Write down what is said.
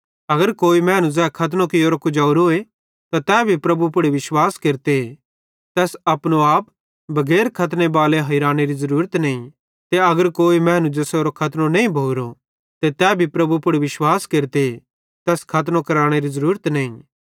अगर कोई मैनू ज़ै खतनो कियोरे कुजोरो त तै प्रभु यीशु पुड़ विश्वास केरते तैस अपनो आप बगैर खतने बालो हिरानेरी ज़रूरत नईं ते अगर कोई मैनू ज़ेसेरो खतनो नईं भोरो ते तै प्रभु यीशु पुड़ विश्वास केरते तैस खतनो कराने ज़रूरत नईं